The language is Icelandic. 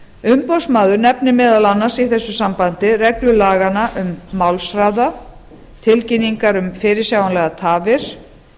umboðsmaður nefnir meðal annars í þessu sambandi reglur laganna um málshraða tilkynningar um fyrirsjáanlegar tafir